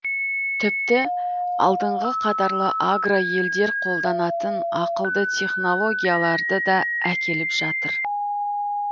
тіпті алдыңғы қатарлы агроелдер қолданатын ақылды технологияларды да әкеліп жатыр